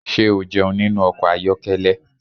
Ṣé o jẹun nínú ọkọ̀ ayokele?